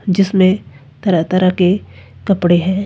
जिसमें तरह तरह के कपड़े हैं।